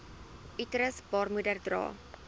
uterus baarmoeder dra